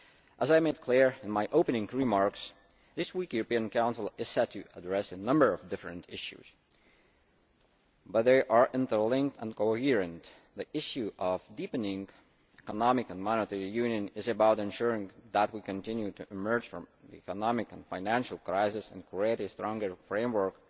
As I made clear in my opening remarks, this week's European Council is set to address a number of different issues, but they are interlinked and coherent. The issue of deepening economic and monetary union is about ensuring that we continue to emerge from the economic and financial crisis and create a stronger framework